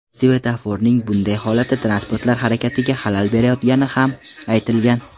Svetoforning bunday holati transportlar harakatiga xalal berayotgani ham aytilgan.